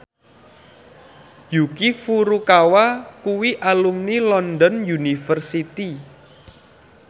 Yuki Furukawa kuwi alumni London University